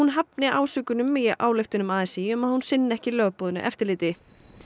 hafni ásökunum í ályktun a s í um að hún sinni ekki lögboðnu eftirliti